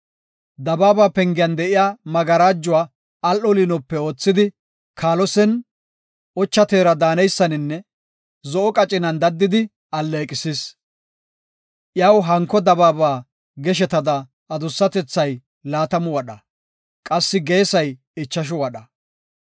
Dabaaba pengiyan de7iya magarajuwa al7o liinope oothidi, kaalosen ocha teera daaneysaninne zo7o qacinan daddidi alleeqisis. Iyaw hanko dabaaba geshetada adussatethay laatamu wadha; qassi geesay ichashu wadha.